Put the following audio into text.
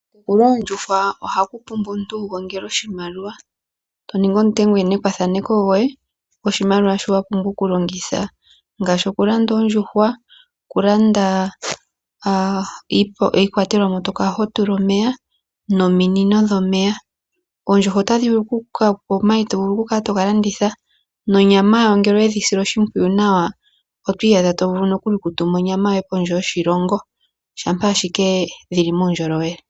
Okumuna oondjuhwa ohaku pula omuntu wu gongele oshimaliwa, to ningi omuntengenekwathaneko goye goshimaliwa shi wa pumbwa okulongitha ngaashi okulanda oondjuhwa, okulanda iikwatelwa mu to kala ho tula omeya nominino dhomeya. Oondjuhwa otadhi vulu okukupa omayi to vulu okukala to ga landitha nonyama yawo ngele owe dhi sile oshimpwiyu nawa, oto iyadha to vulu okutuma onyamayoye kondje toshilongo shampa ashike dhi li muundjolowele.